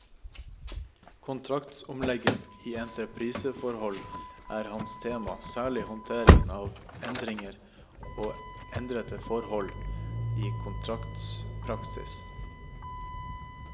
Kontraktsomlegging i entrepriseforhold er hans tema, særlig håndteringen av endringer og endrede forhold i kontraktspraksis.